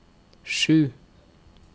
sju